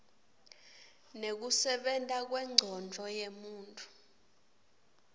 nekusebenta kwencondvo yemuntfu